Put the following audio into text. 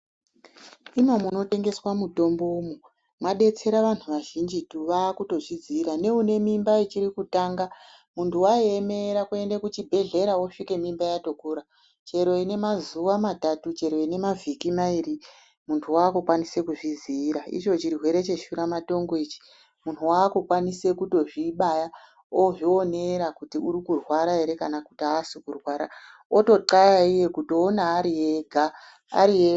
Imo munotengeswa mutombomwo mwadetsera wandu wazhinjitu waakuzvidzira, neune mimba ichiri kutanga mundu waiemera kuenda kuchibhedhleya wosvika mimba yatokura, chero ine mazuwa matatu, chero ine mavhiki mairi munhu waakukwanisa kuzvidziira, icho chirwere cheshura matongo ichi munhu waakukwanisa kutozvibaya, ozvionera kuti uri kurwara ere kana asi kurwara oto xhlaya iye, kutoona ariega.